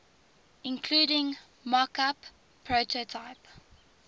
including mockup prototype